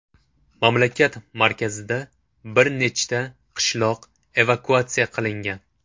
Mamlakat markazida bir nechta qishloq evakuatsiya qilingan.